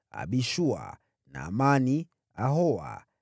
Abishua, Naamani, Ahoa,